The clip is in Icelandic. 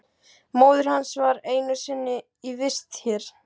Móðir hans var einu sinni í vist hér.